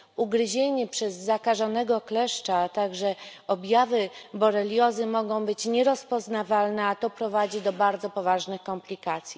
Ugryzienie przez zakażonego kleszcza, a także objawy boreliozy mogą być nierozpoznawalne, a to prowadzi do bardzo poważnych komplikacji.